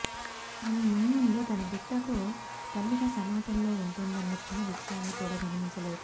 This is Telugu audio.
ఆమె మున్ముందు తన బిడ్డకు తల్లిగా సమాజంలో ఉంటుందన్న చిన్న విషయాన్ని కూడా గమనించలేదు